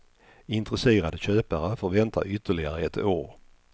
Intresserade köpare får vänta ytterligare ett år.